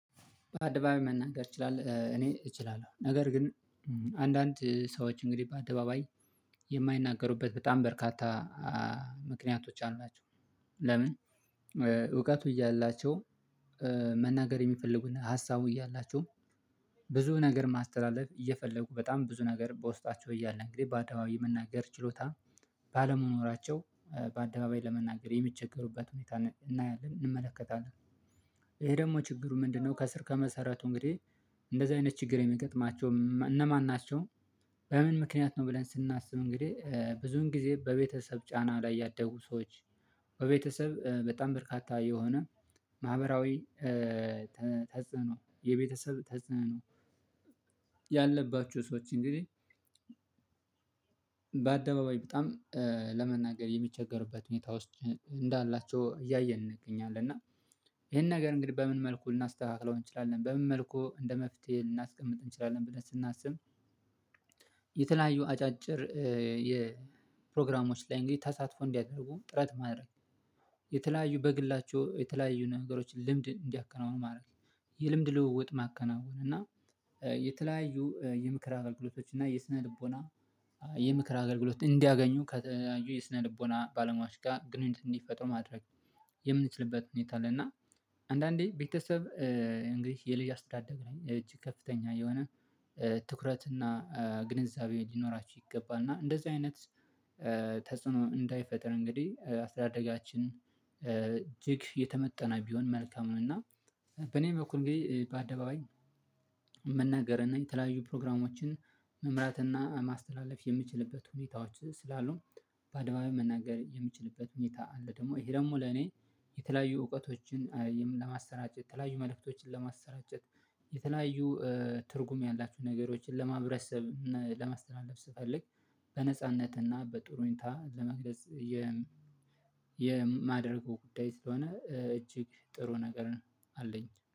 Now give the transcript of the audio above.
በአደባባይ መናገር እችላለሁ እኔ እችላለሁ ነገር ግን አንዳንድ ሰዎች እንግዲህ በአደባባይ የማይናገሩበት በጣም በርካታ ምክንያቶች አሏቸው። ለምን እውቀቱ እያላቸው መናገር የሚፈልጉና ሀሳቡ እያላቸው ብዙ ነገር ማስተላለፍ እየፈለጉ በጣም ብዙ ነገር በውስጣቸው እያልን እንግዲህ በአደባባይ የመናገር ችሎታ ባለመኖራቸው በአደባባይ ለመናገር የሚቸገሩበት ሁኔታ እናያለን እንመለከታለን ይሄ ደግሞ ችግሩ ምንድነው? ከስር ከመሰረቱ እንግዲህ እንደዚህ አይነት ችግር የሚገጥማቸው እነማን ናቸው? በምን ምክንያት ነው ብለን ስናስብ እንግዲህ ብዙን ጊዜ በቤተሰብ ጫና ላይ ያደጉ ሰዎች በቤተሰብ በጣም በርካታ የሆነ ማህበራዊ ተጽዕኖ የቤተሰብ ተጽዕኖ ያለባችሁ ሰዎች እንግዲህ በአደባባይ በጣም ለመናገር የሚቸገሩበት ሁኔታ ውስጥ እንዳላቸው እያየን እንገኛለን። እና ይሄን ነገር እንግዲህ በምን መልኩ ልናስተካክለው እንችላለን በምን መልኩ እንደ መፍትሄ ልናስቀምጥ እንችላለን? ብለን ስናስብ የተለያዩ አጫጭር የ ፕሮግራሞች ላይ እንግዲህ ተሳትፎ እንዲያደርጉ ጥረት ማድረግ የተለያዩ በግላቸው የተለያዩ ነገሮችን ልምድ እንዲያከናውኑ ማድረግ የልምድ ልውውጥ ማከናወን እና የተለያዩ የምክር አገልግሎቶች እና የስነ ልቦና የምክር አገልግሎት እንዲያገኙ ከተለያዩ የስነ ልቦና ባለሟዮች ጋር ግንኙነት እንዲፈጥሩ ማድረግ የምንችልበት ሁኔታ አለ። እና አንዳንዴ ቤተሰብ እንግዲህ የልጅ አስተዳደግ ነኝ እጅ ከፍተኛ የሆነ ትኩረት እና ግንዛቤ ሊኖራችሁ ይገባል እና እንደዚህ አይነት ተጽዕኖ እንዳይፈጥር እንግዲህ አስተዳደጋችን እጅግ የተመጠነ ቢሆን መልካም ነው። እና በኔ በኩል እንግዲህ በአደባባይ መናገር እና የተለያዩ ፕሮግራሞችን መምራት እና ማስተላለፍ የምችልበት ሁኔታዎች ስላሉ በአደባባይ መናገር የምችልበት ሁኔታ አለ። ደግሞ ይሄ ደግሞ ለኔ የተለያዩ እውቀቶችን ለማስተራጨት ተለያዩ መልእክቶችን ለማስተራጨት የተለያዩ ትርጉም ያላቸው ነገሮችን ለማህበረሰብ ለማስተላለፍ ስፈልግ በነጻነትና በጥሩ ሁኔታ ለመግለጽ የ የማደርገው ጉዳይ ስለሆነ እጅግ ጥሩ ነገር አለኝ